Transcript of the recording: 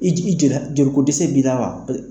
I jiji jela joli ko dese b'i la wa?